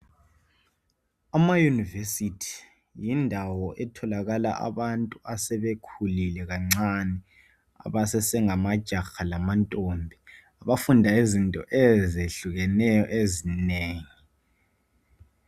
Ama univesithi yindawo etholakala abantu asebekhulile kancane abasase ngamajaha lezintombi, buafunda izinto ezehlukeneyo ezinengi.